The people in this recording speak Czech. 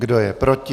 Kdo je proti?